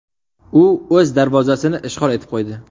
U o‘z darvozasini ishg‘ol etib qo‘ydi.